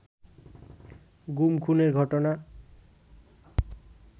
গুম-খুনের ঘটনা